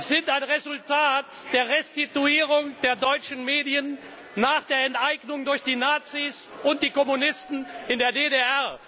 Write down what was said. sind ein Resultat der Restituierung der deutschen Medien nach der Enteignung durch die Nazis und die Kommunisten in der DDR.